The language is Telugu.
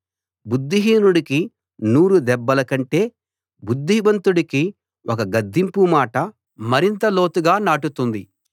బుద్ధిహీనుడికి నూరుదెబ్బల కంటే బుద్ధిమంతుడికి ఒక గద్దింపు మాట మరింత లోతుగా నాటుతుంది